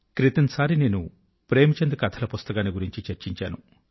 క్రితం సారి నేను ప్రేమ్ చంద్ కథల పుస్తకాన్ని గురించి చర్చించాను